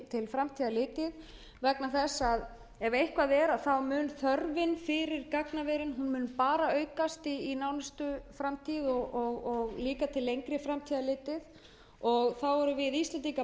varðar til framtíðar litið ef eitthvað er mun þörfin fyrir gagnaver aukast í nánustu framtíð og líka til lengri framtíðar litið þá erum